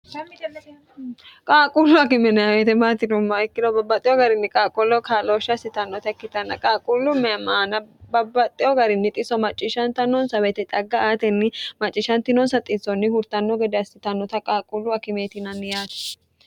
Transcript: qaaqquullu akimeneweetemaatinumma ikkilo babbaxxeho garinni qaaqqollo kaalooshsha hassitannota ikkitanna qaaquullu meemaana babbaxxeyo garinni xiso macciishanta nonsa weyite xagga aatenni macciishshantinoonsa xiitsonni hurtanno gede assitannota qaaqqullu akimeetinanni yaate